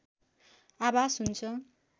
आभास हुन्छ